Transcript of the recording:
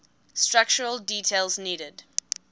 structural details needed